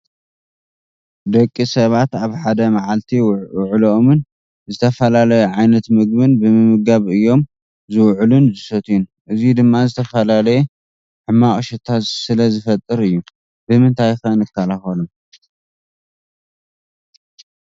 ደቂ ሰባት ኣብ ሓደ ማዕሊቲ ውዕሎኦም ዝተፈላላየ ዓይነት ምግቢ ብምምጋብ እዮም ዝውዕሉ ን ዝሰትዩን እዙይ ድማ ዝተፈላለየ ሕመቅ ሽታ ስለ ዝፈጥር እዮ ።ብምንታይ ንክላከሎ?